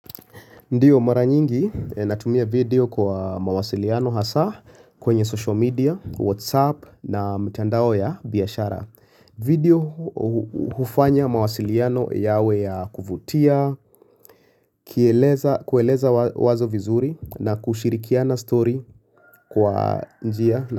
Ndiyo mara nyingi natumia video kwa mawasiliano hasa kwenye social media, whatsapp na mtandao ya biyashara video hufanya mawasiliano yawe ya kuvutia, kueleza wazo vizuri na kushirikia na story kwa njia.